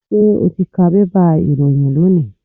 Ṣé o ti ka bébà ìròyìn lónìí?